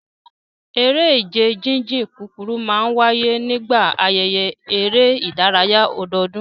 Eré ìje jíjìn kúkúrú máa ń wáyé nígbà ayẹyẹ eré ìdárayá ọdọọdún